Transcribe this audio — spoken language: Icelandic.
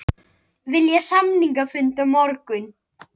Vilja samningafund á morgun